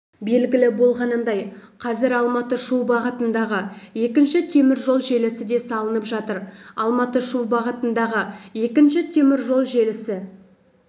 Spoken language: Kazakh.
белгілі болғанындай қазір алматы-шу бағытындағы екінші теміржол желісі де салынып жатыр алматы-шу бағытындағы екінші теміржол желісі